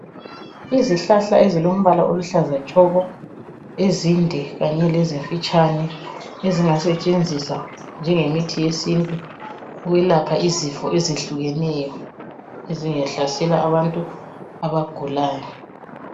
Izihlahla ezilombala oluhlaza tshoko, ezinde kanye lezifitshane ezingasetshenziswa njengemithi yesintu yokwelapha izifo ezihlukeneyo ezingahlasela abantu abagulayo.